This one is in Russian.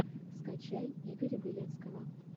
скачай игоря белецкого